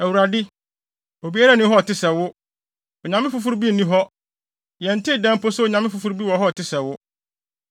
“ Awurade, obiara nni hɔ a ɔte sɛ wo. Onyame foforo bi nni hɔ! Yɛntee da mpo sɛ onyame foforo bi wɔ hɔ te sɛ wo!